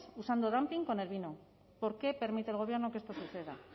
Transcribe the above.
usando dumping con el vino por qué permite el gobierno que esto suceda